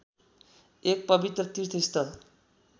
एक पवित्र तीर्थस्थल